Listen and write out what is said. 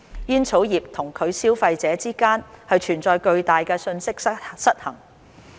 煙草業與其消費者之間存在巨大的信息失衡。